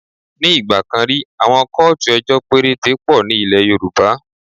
Ní ìgbà kan rí, àwọn kóòtù ejọ́ péréte pọ̀ ní ilẹ̀ Yorùbá.